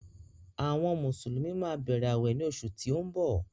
Àwọn Mùsùlùmí máa bẹ̀rẹ̀ awẹ ní oṣù tí ó ń bọ̀.